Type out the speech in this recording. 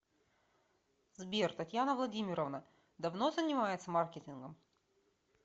сбер татьяна владимировна давно занимается маркетингом